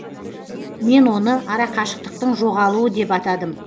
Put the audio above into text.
мен оны арақашықтықтың жоғалуы деп атадым